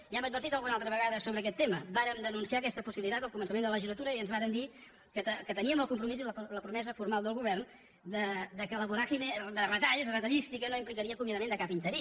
ja hem advertit alguna altra vegada sobre aquest tema vàrem denunciar aquesta possibilitat al començament de la legislatura i ens varen dir que teníem el compromís i la promesa formal del govern que la voràgine de retalls retallística no implicaria acomiadament de cap interí